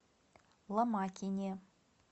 ломакине